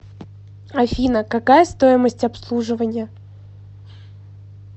афина какая стоимость обслуживания